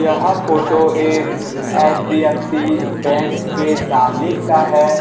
यह फोटो एक HDFC bank के सामने का है।